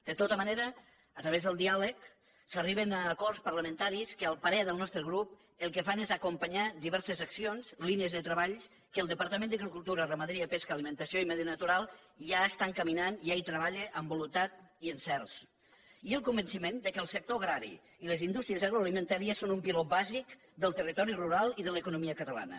de tota manera a través del diàleg s’arriba a acords parlamentaris que al parer del nostre grup el que fan és acompanyar diverses accions línies de treball que el departament d’agricultura ramaderia pesca alimentació i medi natural ja està encaminant ja hi treballa amb voluntat i encerts i el convenciment que el sector agrari i les indústries agroalimentàries són un piló bàsic del territori rural i de l’economia catalana